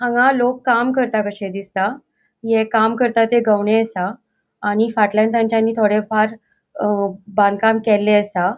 हांगा लोक काम करता कशे दिसता. हे काम करता ते गवणे असा. आणि फाटल्यान तांचानी थोड़े फार अ बांधकाम केले असा.